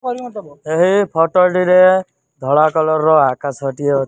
ଏହି ଫଟୋଟିରେ ଧଳା କଲରର ଆକାଶ ଟିଏ --